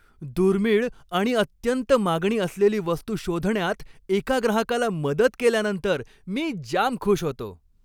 दुर्मिळ आणि अत्यंत मागणी असलेली वस्तू शोधण्यात एका ग्राहकाला मदत केल्यानंतर मी जाम खुश होतो.